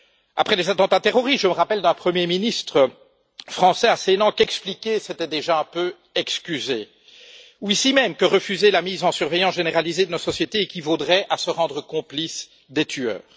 Après les attentats terroristes, je me rappelle un Premier ministre français assénant qu'expliquer c'était déjà un peu excuser, ou ici même, que refuser la mise en surveillance généralisée de notre société équivaudrait à se rendre complice des tueurs.